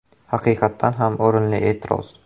Haqiqatdan ham o‘rinli e’tiroz.